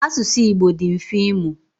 Asụsụ Igbo dị mfe ịmụ.